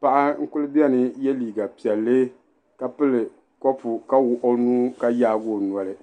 paɣa n kuli bɛni n yɛ liiga piɛlli ka pili kɔpu ka wuɣi o nuu ka yaagi o noli.